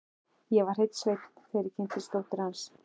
Ég var hreinn sveinn, þegar ég kynntist dóttur hans.